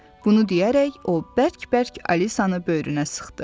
Bunu deyərək o bərk-bərk Alisanı böyrünə sıxdı.